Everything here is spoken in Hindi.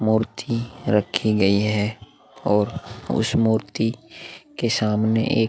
मूर्ति रखी गई है और उस मूर्ति के सामने एक --